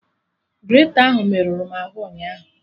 Greta ahụ merụrụ m arụ ụnyaahụ